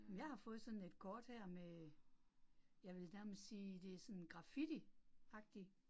Men jeg har fået sådan et kort her med, jeg vil nærmest sige det sådan graffiti agtig